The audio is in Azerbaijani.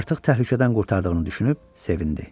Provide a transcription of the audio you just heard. Artıq təhlükədən qurtardığını düşünüb sevindi.